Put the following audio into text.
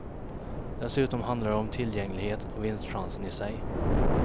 Dessutom handlar det om tillgänglighet och vinstchansen i sig.